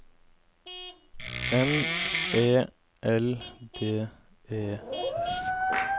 M E L D E S